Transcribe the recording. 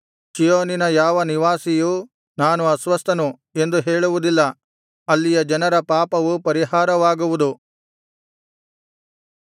ಚೀಯೋನಿನ ಯಾವ ನಿವಾಸಿಯೂ ನಾನು ಅಸ್ವಸ್ಥನು ಎಂದು ಹೇಳುವುದಿಲ್ಲ ಅಲ್ಲಿಯ ಜನರ ಪಾಪವು ಪರಿಹಾರವಾಗುವುದು